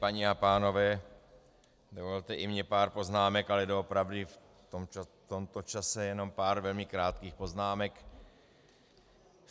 Paní a pánové, dovolte i mně pár poznámek, ale doopravdy v tomto čase jenom pár velmi krátkých poznámek.